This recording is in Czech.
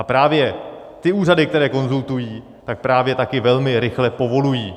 A právě ty úřady, které konzultují, tak právě taky velmi rychle povolují.